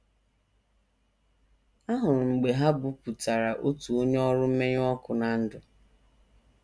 Ahụrụ m mgbe ha bupụtara otu onye ọrụ mmenyụ ọkụ ná ndụ.